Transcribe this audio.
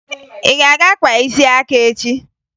Ị ga-aga kpaa isi aka echi!